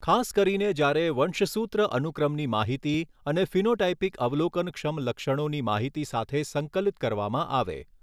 ખાસ કરીને જ્યારે વંશસૂત્ર અનુક્રમની માહિતી અને ફિનોટાઇપિક અવલોકનક્ષમ લક્ષણોની માહિતી સાથે સંકલિત કરવામાં આવે.